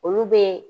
Olu bɛ